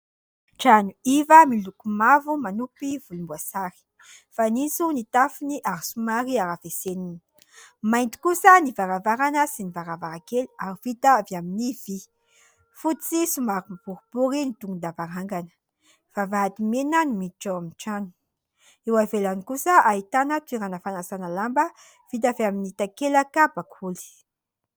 Trano iva miloko mavo manopy volomboasary. Fanitso ny tafony ary somary harafesenina. Mainty kosa ny varavarana sy ny varavarankely ary vita avy amin'ny vy. Fotsy somary boribory ny tongo-davarangana. Vavahady mena no miditra ao amin'ny trano. Eo ivelany kosa ahitana toerana fanasana lamba vita avy amin'ny takelaka bakoly.